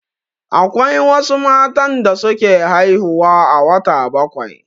Akwai wasu matan da suke haihuwa a wata bakwai.